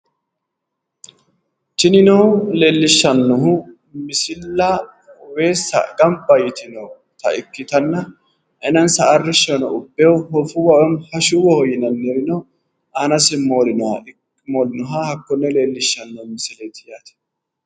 tinino leellishshannohu misilla weessa gamba yitinota ikitanna aanansa arrishshono ubbe hoofuwa woy hashuwaho yinannirino aanasi moolinoha noota hakkonne leellishshannoreeti